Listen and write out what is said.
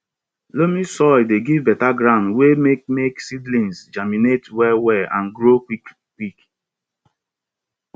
loamy soil dey give better ground wey make make seedlings germinate well well and grow quickquick